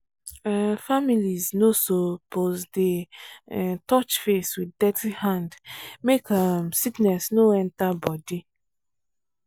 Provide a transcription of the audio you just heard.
um families suppose no dey um touch face with dirty hand make um sickness no enter body.